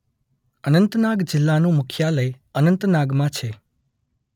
અનંતનાગ જિલ્લાનું મુખ્યાલય અનંતનાગમાં છે.